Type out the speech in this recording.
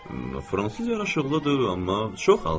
Fransız yaraşıqlıdır, amma çox alçaqdır.